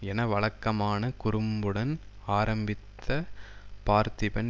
என வழக்கமான குறும்புடன் ஆரம்பித்த பார்த்திபன்